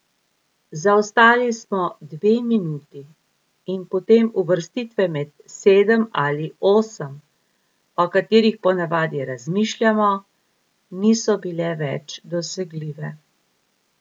Zaostali smo dve minuti in potem uvrstitve med sedem ali osem, o katerih ponavadi razmišljamo, niso bile več dosegljive.